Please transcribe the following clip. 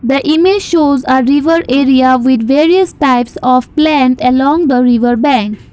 the image shows uh river area with various types of plant along the river bank.